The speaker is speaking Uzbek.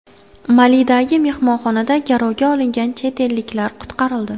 Malidagi mehmonxonada garovga olingan chet elliklar qutqarildi.